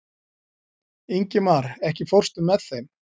Ingimar, ekki fórstu með þeim?